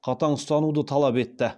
қатаң ұстануды талап етті